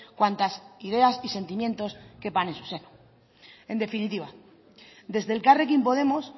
cuantas ideas y sentimientos quepan en su seno en definitiva desde elkarrekin podemos